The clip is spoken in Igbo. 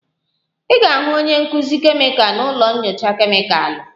Ị ga-ahụ onye nkuzi kemịkal na ụlọ nyocha kemịkalụ